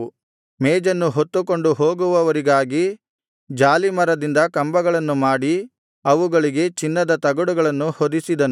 ಮೇಜನ್ನು ಹೊತ್ತುಕೊಂಡು ಹೋಗುವವರಿಗಾಗಿ ಜಾಲೀಮರದಿಂದ ಕಂಬಗಳನ್ನು ಮಾಡಿ ಅವುಗಳಿಗೆ ಚಿನ್ನದ ತಗಡುಗಳನ್ನು ಹೊದಿಸಿದನು